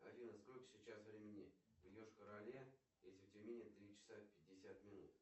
афина сколько сейчас времени в йошкар оле если в тюмени три часа пятьдесят минут